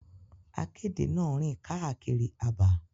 Akéde na rin kaakiri àbá.